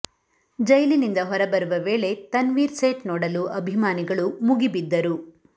ಜೈಲಿನಿಂದ ಹೊರ ಬರುವ ವೇಳೆ ತನ್ವೀರ್ ಸೇಠ್ ನೋಡಲು ಅಭಿಮಾನಿಗಳು ಮುಗಿಬಿದ್ದರು